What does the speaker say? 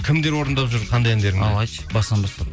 кімдер орындап жүр қандай әндеріңді ал айтшы басынан бастап